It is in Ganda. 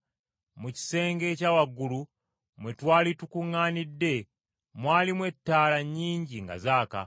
Mu kisenge ekya waggulu mwe twali tukuŋŋaanidde mwalimu ettaala nnyingi nga zaaka.